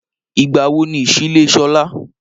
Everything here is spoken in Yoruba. Ìgbà wo ni ìsílé Sọlá?